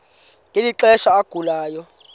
ngeli xesha agulayo